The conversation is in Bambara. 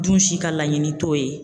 Dun si ka laɲini t'o ye